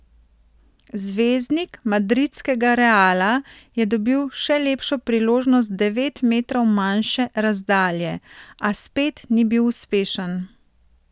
Zvezdnik madridskega Reala je dobil še lepšo priložnost z devet metrov manjše razdalje, a spet ni bil uspešen.